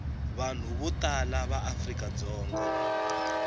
vanhu vo tala va afrikadzonga